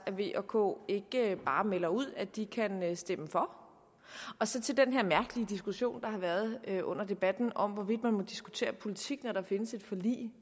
at v og k ikke bare melder ud at de kan stemme for så til den her mærkelige diskussion der har været under debatten om hvorvidt man må diskutere politik når der findes et forlig